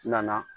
Na